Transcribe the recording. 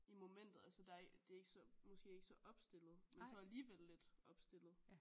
I momentet altså der det er ikke så måske ikke så opstillet men så alligevel lidt opstillet